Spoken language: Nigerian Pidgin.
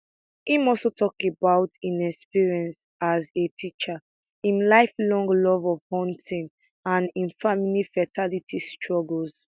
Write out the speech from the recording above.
im also tok about im experience as a teacher im lifelong love of hunting and im family fertility struggles